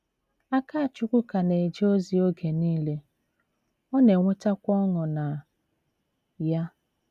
Akachukwu ka na - eje ozi oge nile, ọ na - enwetakwa ọṅụ na ya.